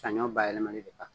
Saɲɔn bayɛlɛmali de